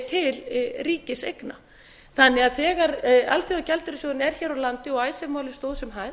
til ríkiseigna þegar alþjóðagjaldeyrissjóðurinn er hér á landi og icesave málið stóð sem hæst